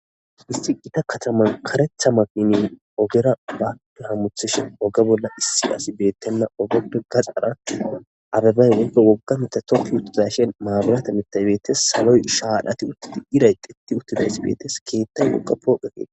isti gita kataman karetha makinin ogera baada hamuthishe oge bolla issi asi beettenna ogappe gaxara abebay wogge wogga mita toki uttidashen maabirata mitaybeettes saloy shaadhati uttidi iray qeti uttidays beetes keettay woqa pooqetee